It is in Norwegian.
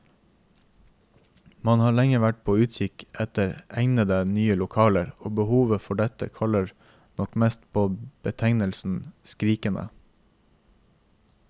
Man har lenge vært på utkikk etter egnede, nye lokaler, og behovet for dette kaller nok mest på betegnelsen skrikende.